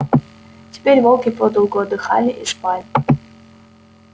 теперь волки подолгу отдыхали и спали